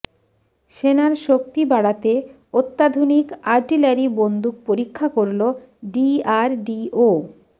সেনার শক্তি বাড়াতে অত্যাধুনিক আর্টিলারি বন্দুক পরীক্ষা করল ডিআরডিও